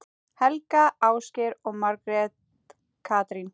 Helga, Ásgeir og Margrét Katrín.